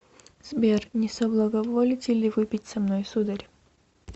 сбер не соблаговолите ли выпить со мной сударь